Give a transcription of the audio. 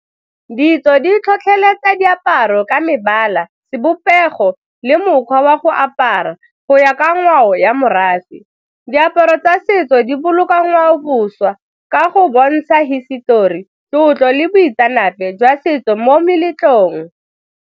Ditso di tlhotlheletsa diaparo ka mebala, sebopego le mokgwa wa go apara go ya ka ngwao ya morafe. Diaparo tsa setso di boloka ngwaoboswa ka go bontsha hisetori, tlotlo le boitseanape jwa setso mo meletlong.